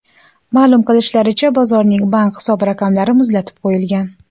Ma’lum qilishlaricha, bozorning bank hisob-raqamlari muzlatib qo‘yilgan.